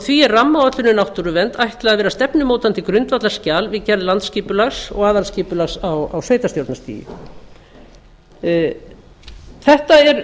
því er rammaáætlun um náttúruvernd ætlað að vera stefnumótandi grundvallarskjal við gerð landskipulags og aðalskipulags á sveitarstjórnarstigi það er